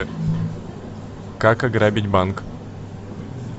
как ограбить банк